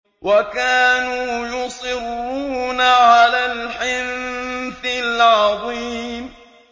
وَكَانُوا يُصِرُّونَ عَلَى الْحِنثِ الْعَظِيمِ